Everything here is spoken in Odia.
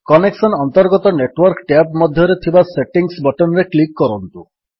କନେକ୍ସନ୍ସ ଅନ୍ତର୍ଗତ ନେଟୱର୍କ ଟ୍ୟାବ୍ ମଧ୍ୟରେ ଥିବା ସେଟିଙ୍ଗ୍ସ ବଟନ୍ ରେ କ୍ଲିକ୍ କରନ୍ତୁ